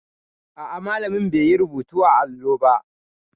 A'a, malamin bai yi rubutu a allo ba.